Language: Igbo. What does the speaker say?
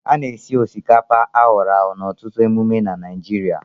A na-esi osikapa akworagwo n'ọtụtụ emume na Naịjirịa